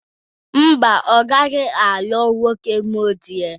Mba, ọ gaghị alụ nwoke Muslim